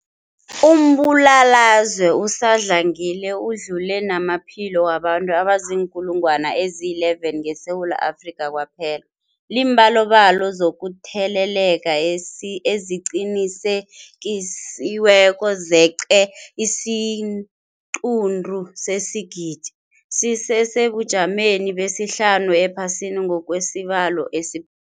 Umbulalazwe usadlangile udlule namaphilo wabantu abaziinkulungwana ezi-11 ngeSewula Afrika kwaphela. Iimbalobalo zokutheleleka eziqinisekisiweko zeqe isiquntu sesigidi, sisesebujameni besihlanu ephasini ngokwesibalo esi